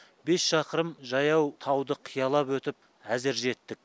бес шақырым жаяу тауды қиялап өтіп әзер жеттік